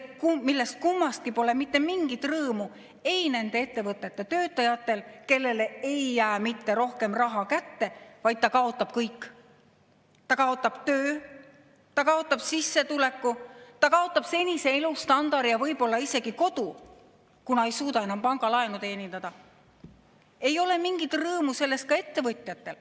Neist kummastki pole mitte mingit rõõmu ei selle ettevõtte töötajale, kellele ei jää mitte rohkem raha kätte, vaid ta kaotab kõik – ta kaotab töö, ta kaotab sissetuleku, ta kaotab senise elustandardi ja võib-olla isegi kodu, kuna ta ei suuda enam pangalaenu teenindada –, ega ole mingit rõõmu ka ettevõtjale.